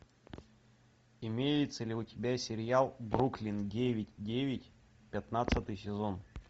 имеется ли у тебя сериал бруклин девять девять пятнадцатый сезон